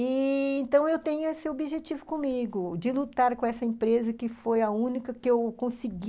E... então, eu tenho esse objetivo comigo, de lutar com essa empresa que foi a única que eu consegui